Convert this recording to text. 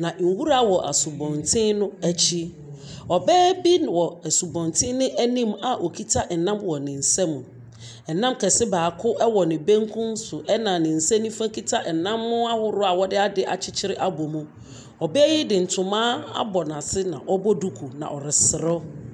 Na nwura wɔ asɔbɔnten no akyi. Ɔbaa bi wɔ asubɔnten no anim a okita nam wɔ ne nsam. Nam kɛse baako wɔ ne benkum so. Ɛna ne nsa nifa kita nam ahorow a wɔde ade akyekyere abɔ mu. Ɔbaa yi de ntoma abɔ n'ase na ɔbɔ duku na ɔreserew.